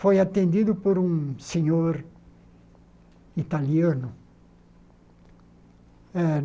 foi atendido por um senhor italiano. Eh